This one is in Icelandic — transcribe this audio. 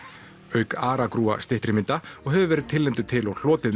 auk aragrúa styttri mynda og hefur verið tilnefndur til og hlotið